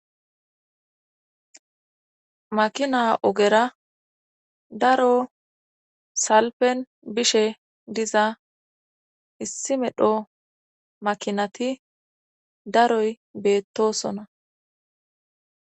Mina ogera daro salpen bishe diza issi medho makinati daroy beettosona.